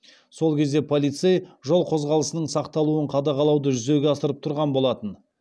сол кезде полицей жол қозғалысының сақталуын қадағалауды жүзеге асырып тұрған болатын